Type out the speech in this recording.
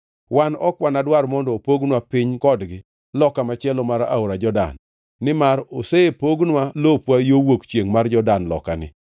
Wan ok wanadwar mondo opognwa piny kodgi loka machielo mar aora Jordan nimar osepognwa lopwa yo wuok chiengʼ mar Jordan lokani.”